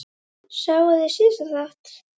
Sáuð þið síðasta þátt?